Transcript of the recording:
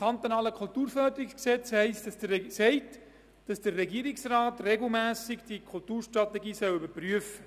Das KKFG verlangt, dass der Regierungsrat die Kulturstrategie regelmässig überprüft.